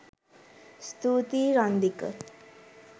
ස්තුතියි රන්දික